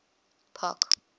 park